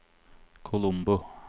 Colombo